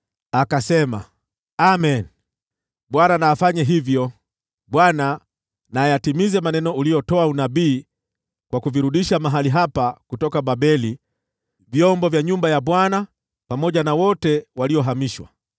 Akasema, “Amen! Bwana na afanye hivyo! Bwana na ayatimize maneno uliyotoa unabii kwa kuvirudisha mahali hapa kutoka Babeli vyombo vya nyumba ya Bwana pamoja na wote waliohamishwa.